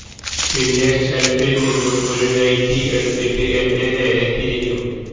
പിന്നെ ഷെൽഫിൽ നിന്നും ഒരു നൈറ്റി എടുത്തിട്ട് എന്റെ നേരെ തിരിഞ്ഞു